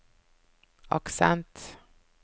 aksent